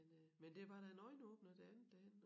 Men øh men det var da en øjenåbner det andet derhenne